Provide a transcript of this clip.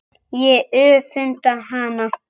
Ég öfunda hana.